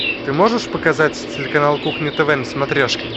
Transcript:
ты можешь показать телеканал кухня тв на смотрешке